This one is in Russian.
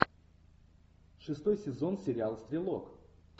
шестой сезон сериал стрелок